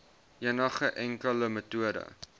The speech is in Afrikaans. enigste enkele metode